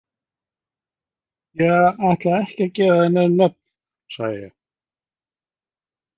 Ég ætla ekki að gefa þér nein nöfn, sagði ég.